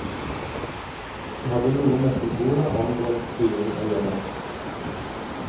Det hadde noe med symboler angående styring å gjøre.